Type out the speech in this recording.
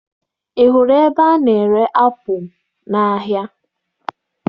Ị hụrụ ebe a na-ere apụ n'ahịa?